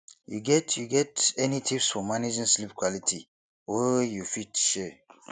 you get you get any tips for managing sleep quality wey you fit share